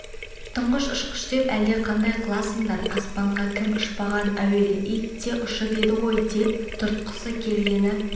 тұңғыш ұшқыш деп әлдеқандай қыласыңдар аспанға кім ұшпаған әуелі ит те ұшып еді ғой деп тұқыртқысы келгені